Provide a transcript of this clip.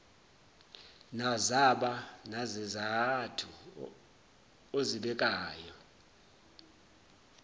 nazaba nazizathu ozibekayo